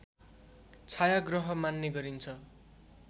छाया ग्रह मान्ने गरिन्छ